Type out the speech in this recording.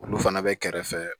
Olu fana bɛ kɛrɛfɛ